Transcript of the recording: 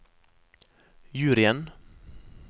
juryen